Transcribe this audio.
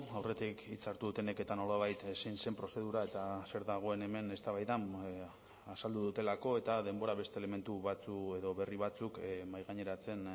aurretik hitza hartu dutenek eta nolabait zein zen prozedura eta zer dagoen hemen eztabaidan azaldu dutelako eta denbora beste elementu batzuk edo berri batzuk mahaigaineratzen